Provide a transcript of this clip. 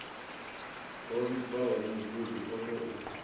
ho vhibvaho mugudi o tou